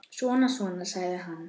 Svona, svona, sagði hann.